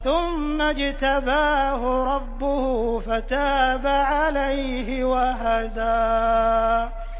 ثُمَّ اجْتَبَاهُ رَبُّهُ فَتَابَ عَلَيْهِ وَهَدَىٰ